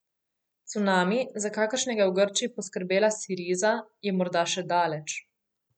Cunami, za kakršnega je v Grčiji poskrbela Siriza, je morda še daleč.